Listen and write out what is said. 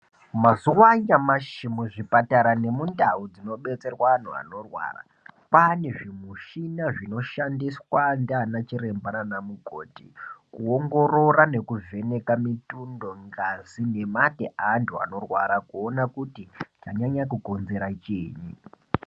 Mazuwanyamashe muzvipatara nemundau dzinodetserwe vanhu vanorwara , kwanezvimishina zvinoshandiswa nge anachiremba nge anamukoti kuwongorora ngekuvheneka mitundo, ngazi nemate ewantu wanorwara kuwona kuti chanyanya kukonzera chini.